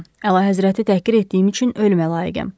Bilirəm, Əlahəzrəti təhqir etdiyim üçün ölümə layiqəm.